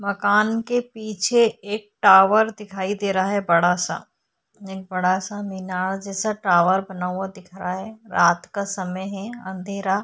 मकान के पीछे एक टावर दिखाई दे रहा है बड़ा सा एक बड़ा सा मीनार जैसा टावर बना हुआ दिख रहा है रात का समय है अँधेरा।